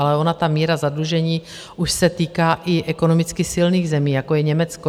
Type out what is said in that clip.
Ale ona ta míra zadlužení už se týká i ekonomicky silných zemí, jako je Německo.